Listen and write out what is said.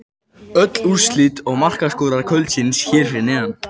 Öll úrslit og markaskorarar kvöldsins hér fyrir neðan: